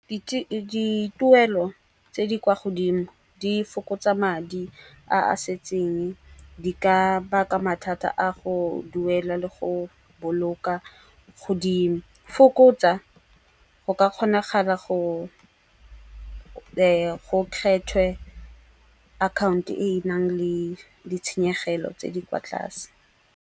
Dituelo tse di kwa godimo di fokotsa madi a a setseng, di ka baka mathata a go duela le go boloka. Go di fokotsa go ka kgonagala go kgethwe account-o e e nang le ditshenyegelo tse di kwa tlase.